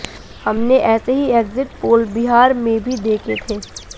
हमने ऐसे ही एक्जिट पोल बिहार में भी देखे थे